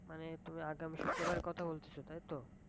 মানে তুমি আগামী শুক্রবার এর কথা বলতাছো তাই তো?